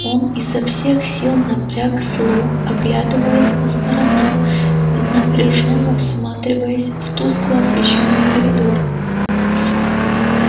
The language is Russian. он изо всех сил напрягал слух оглядываясь по сторонам и напряжённо всматриваясь в тускло освещённый коридор